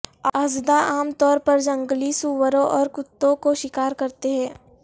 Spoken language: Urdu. اژدھا عام طور پر جنگلی سوروں اور کتوں کو شکار کرتے ہیں